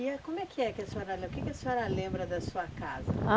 E é como é que que a senhora lem... O que que a senhora lembra da sua casa? Ah